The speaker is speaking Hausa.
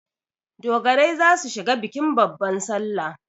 Dogarai za su shiga bikin babban salla.